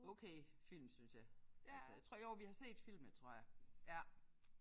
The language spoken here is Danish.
Okay film synes jeg. Altså jeg tror jo vi har set filmene tror jeg ja